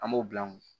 An b'o bila an kun